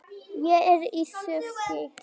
Ég er í skrúfstykki.